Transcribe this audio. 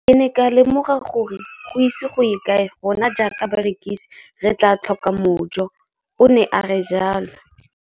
Ke ne ka lemoga gore go ise go ye kae rona jaaka barekise re tla tlhoka mojo, o ne a re jalo.